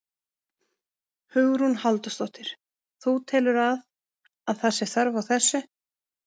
Hugrún Halldórsdóttir: Þú telur að, að það sé þörf á þessu?